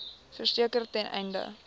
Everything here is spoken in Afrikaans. verseker ten einde